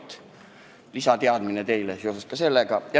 See on teile lisateadmiseks seoses sellega.